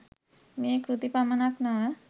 මේ කෘති පමණක් නො ව